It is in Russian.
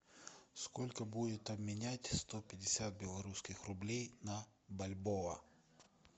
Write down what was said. сколько будет обменять сто пятьдесят белорусских рублей на бальбоа